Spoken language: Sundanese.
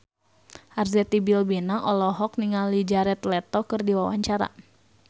Arzetti Bilbina olohok ningali Jared Leto keur diwawancara